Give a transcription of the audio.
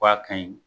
K'a ka ɲi